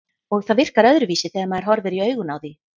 Og það virkar öðruvísi þegar maður horfir í augun á því.